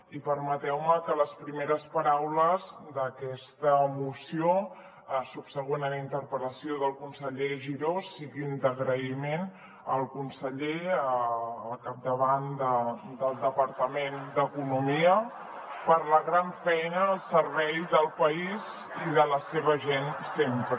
i permeteu me que les primeres paraules d’aquesta moció subsegüent a la interpel·lació del conseller giró siguin d’agraïment al conseller al capdavant del departament d’economia per la gran feina al servei del país i de la seva gent sempre